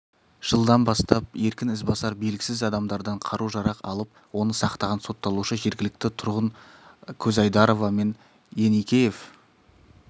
жылдан бастап еркін ізбасар белгісіз адамдардан қару-жарақ алып оны сақтаған сотталушы жергілікті тұрғын көзайдарова мен еникеев